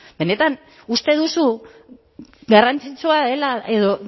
benetan uste duzu garrantzitsua dela edo